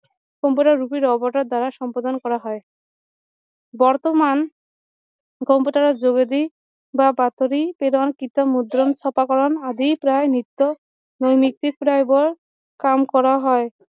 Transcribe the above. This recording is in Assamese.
কম্পিউটাৰ ৰূপী ৰবটৰ দ্বাৰা সম্পাদন কৰা হয় বৰ্তমান কম্পিউটাৰ যোগেদি বা বাতৰি প্ৰেৰণ কিতাপ মুদ্ৰণ চপা কৰণ আদি প্ৰায় নিত্য নৈমিত্তিক প্ৰয়োগৰ কাম কৰা হয়